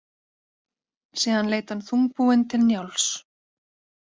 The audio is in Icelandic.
Síðan leit hann þungbúinn til Njáls.